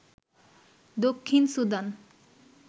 Dakshin Sudan